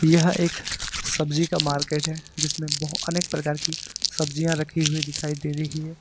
यह एक सब्जी का मार्केट है जिसमें बहुत अनेक प्रकार की सब्जियां रखी हुई दिखाई दे रही है।